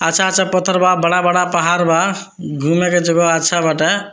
अच्छा-अच्छा पत्थर बा बड़ा-बड़ा पहाड़ बा घूमे के जगह अच्छा बाटे।